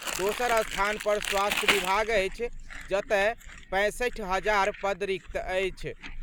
दोसर स्थान पर स्वास्थ्य विभाग अछि, जतय 65 हजार पद रिक्त अछि।